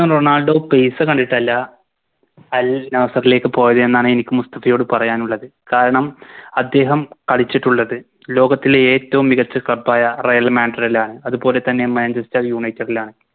Ronaldo പൈസ വേണ്ടിട്ടല്ല Al nassr ലേക്ക് പോയത് എന്നാണ് എനിക്ക് മുസ്തഫയോട് പറയാനുള്ളത് കാരണം അദ്ദേഹം കളിച്ചിട്ടുള്ളത് ലോകത്തിലെ ഏറ്റോം മികച്ച Club ആയ Real madrid ലാണ് അത് പോലെ തന്നെ Manchester united ലാണ്